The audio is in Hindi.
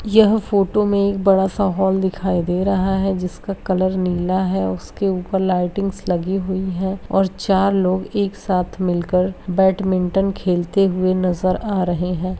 यह फोटो में एक बड़ा-सा हॉल दिखाई दे रहा है जिसका कलर नीला है उसपे लइटिंग्स लगी हुई है और चार लोग एक साथ मिल कर बेडमिन्टन खेलते हुए नजर आ रहे है।